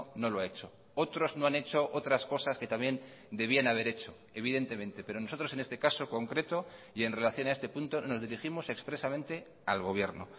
no lo ha hecho otros no han hecho otras cosas que también debían haber hecho evidentemente pero nosotros en este caso concreto y en relación a este punto nos dirigimos expresamente al gobierno